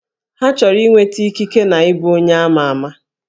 Ha chọrọ inweta ikike na ịbụ onye ama ama